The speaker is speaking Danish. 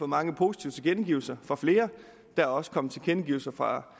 mange positive tilkendegivelser fra flere der er også kommet tilkendegivelser fra